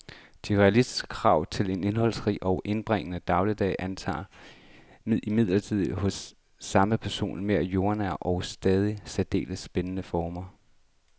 De realistiske krav til en indholdsrig og indbringende dagligdag antager imidlertid hos samme person mere jordnære og dog stadig særdeles spændende former.